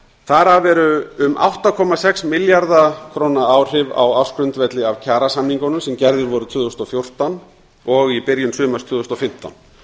þar af eru um átta komma sex milljarða króna áhrif á ársgrundvelli af kjarasamningunum sem gerðir voru tvö þúsund og fjórtán og í byrjun sumars tvö þúsund og fimmtán